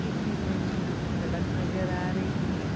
इस इमेज में यहाँ पे सड़क नजर आ रही है।